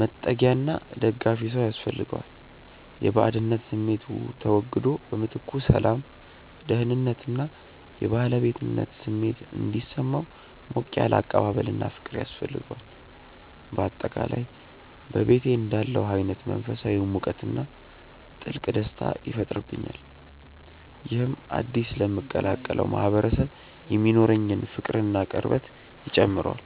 መጠጊያና ደጋፊ ሰው ያስፈልገዋል። የባዕድነት ስሜቱ ተወግዶ በምትኩ ሰላም፣ ደህንነት እና የባለቤትነት ስሜት እንዲሰማው ሞቅ ያለ አቀባበልና ፍቅር ያስፈልገዋል። በአጠቃላይ በቤቴ እንዳለሁ አይነት መንፈሳዊ ሙቀትና ጥልቅ ደስታ ይፈጥርብኛል። ይህም አዲስ ለምቀላቀለው ማህበረሰብ የሚኖረኝን ፍቅርና ቅርበት ይጨምረዋል።